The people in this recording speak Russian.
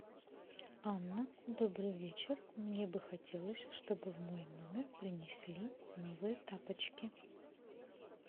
анна добрый вечер мне бы хотелось чтобы в мой номер принесли новые тапочки